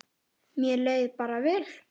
Mér leið bara vel.